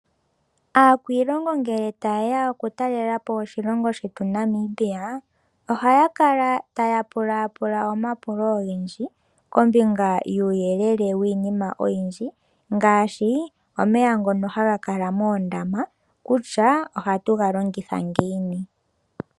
Aakwiilongo ngele ta yeya oku talelapo oshilongo shetu Namibia oha ya kala taya pula pula omapulo ogendji kombinga yuuyelele wiinima oyindji. Ngaashi omeya ngono haga kala moondama kutya oha tu ga longitha ngiini.